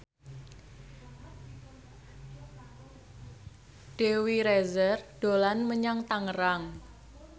Dewi Rezer dolan menyang Tangerang